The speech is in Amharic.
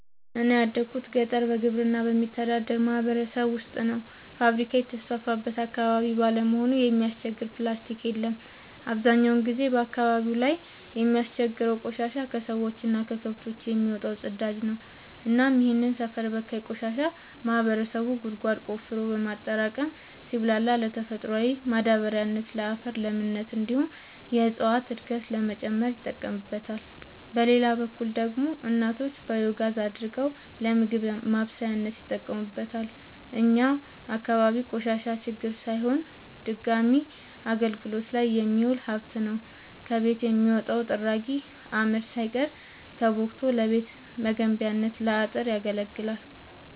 እኔ ያደጉት ገጠር በግብርና በሚተዳደር ማህበረሰብ ውስጥ ነው። ፋብሪካ የተስፋፋበት አካባቢ ባለመሆኑ የሚያስቸግር ፕላስቲ የለም አብዛኛውን ጊዜ አካባቢው ላይ የሚያስቸግረው ቆሻሻ የከሰዎች እና ከከብቶች የሚወጣው ፅዳጅ ነው እናም ይህንን ሰፈር በካይ ቆሻሻ ማህበረሰቡ ጉድጓድ ቆፍሮ በማጠራቀም ሲብላላ ለተፈጥሯዊ ማዳበሪያነት ለአፈር ለምነት እንዲሁም የእፀዋትን እድገት ለመጨመር ይጠቀምበታል። በሌላ በኩል ደግሞ እናቶች ባዮጋዝ አድርገው ለምግብ ማብሰያነት ይጠቀሙበታል። እኛ አካባቢ ቆሻሻ ችግር ሳይሆን ድጋሚ አገልግት ላይ የሚውል ሀብት ነው። ከቤት የሚወጣው ጥራጊ አመድ ሳይቀር ተቦክቶ ለቤት መገንቢያ ለአጥር ያገለግላል።